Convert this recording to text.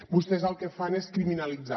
vostès el que fan és criminalitzar